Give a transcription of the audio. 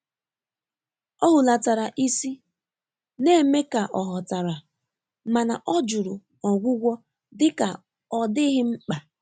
Ọ́ hùlàtàrà ísí, nà-émé kà ọ̀ ghọ́tàrà, mà nà ọ́ jụ́rụ̀ ọ́gwụ́gwọ́ dị́kà ọ́ dị́ghị́ mkpà.